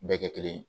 Bɛɛ kɛ kelen ye